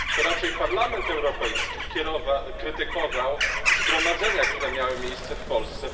To raczej Parlament Europejski krytykował zgromadzenia, które miały miejsce w Polsce.